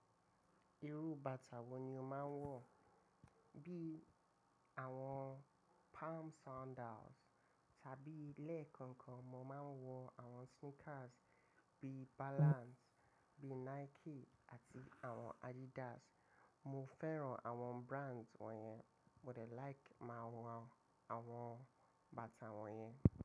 Irú bàtà wo ni o máa ń wọ̀? Bí àwọn palm sandals tàbí lẹ́ẹ̀kan kan mo máa ń wọ àwọn sneakers bí Balance, bí Nike àti àwọn Adidas. Mo fẹ́ran àwọn brands wọ̀nyẹn. But I like máa wọ àwọn bàtà wọ̀nyẹn.